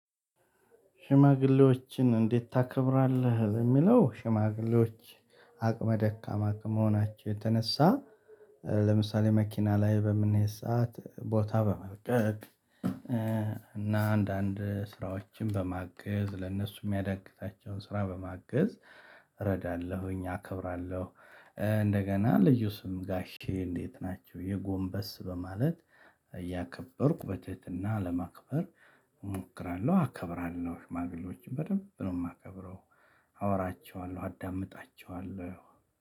ሽማግሌዎችን እንዴት ታከብራለህ? የሚለው ሽማግሌዎች አቅመ ደካማ ከመሆናቸው የተነሳ። ለምሳሌ መኪና ላይ በምንሄድ ሰዓት ቦታ በመልቀቅ። እና አንዳንድ ስራዎችን በማገዝ ለነሱ የሚያዳግታቸውን ስራ በማገዝ እረዳለሁኝ አከብራለሁ። እንደገና ልዩ ስም ጋሼ እንዴት ናቹ የጎንበስ በማለት። እያከበርኩ በትህትና ለማክበር እሞክራለሁ አከብራለሁ። ሽማግሌዎችን በደንብ ነው የማከብረው። አወራቸዋለሁ አዳምጣቸዋለሁ።